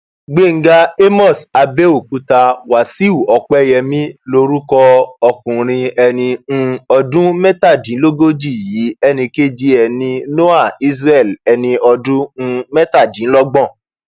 gbéńga àmós àbẹòkúta wáṣíù òpẹyẹmí lorúkọ ọkùnrin ẹni um ọdún mẹtàdínlógójì yìí ẹnì kejì ẹ ní noah isreal ẹni ọdún um mẹtàdínlọgbọn